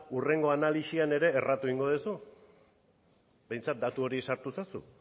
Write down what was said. hurrengo analisian ere erratu egingo duzu behintzat datu hori sartu ezazu